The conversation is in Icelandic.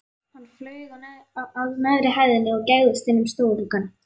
Hann flaug að neðri hæðinni og gægðist inn um stofugluggann.